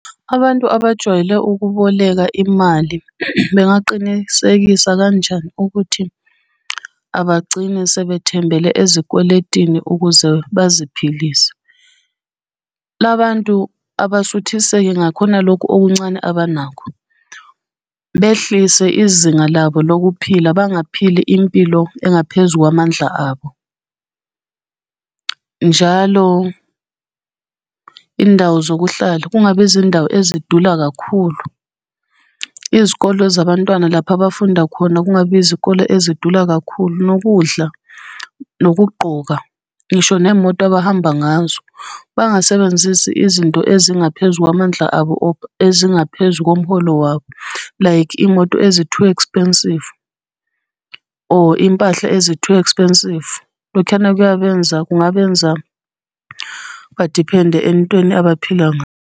Abantu abajwayele ukuboleka imali bengaqinisekisa kanjani ukuthi abagcini sebethembele ezikweletini ukuze baziphilise? La bantu abasuthiseke ngakhona lokhu okuncane abanakho. Behlise izinga labo lokuphila, bangaphili impilo engaphezu kwamandla abo. Njalo, iy'ndawo zokuhlala kungabi izindawo ezidula kakhulu. Izikole zabantwana lapha abafunda khona, kungabi izikole ezidula kakhulu nokudla, nokugqoka, ngisho nemoto abahamba ngazo. Bangasebenzisi izinto ezingaphezu kwamandla abo ezingaphezu komholo wabo like iy'moto ezi-too expensive or iy'mpahla ezi-too expensive. lokhuyana kuyabenza, kungabenza badiphende entweni abaphila .